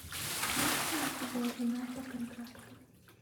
есть ли у тебя жена по контракту